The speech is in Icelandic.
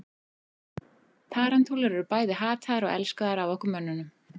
tarantúlur eru bæði hataðar og elskaðar af okkur mönnunum